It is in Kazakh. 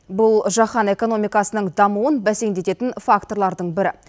бұл жаһан экономикасының дамуын бәсеңдедетін факторлардың бірі